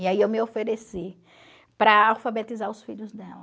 E aí eu me ofereci para alfabetizar os filhos dela.